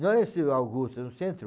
Não é esse Augusto, no centro